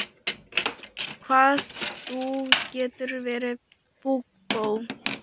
Hvað þú getur verið púkó!